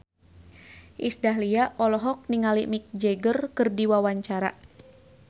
Iis Dahlia olohok ningali Mick Jagger keur diwawancara